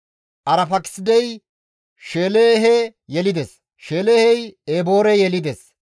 Arfaakisidey Sheelahe yelides. Sheelahey Eboore yelides.